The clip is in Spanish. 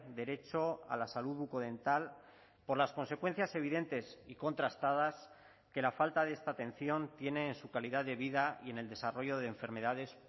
derecho a la salud bucodental por las consecuencias evidentes y contrastadas que la falta de esta atención tiene en su calidad de vida y en el desarrollo de enfermedades